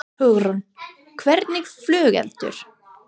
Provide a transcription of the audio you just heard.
Hugrún: Hvernig flugelda?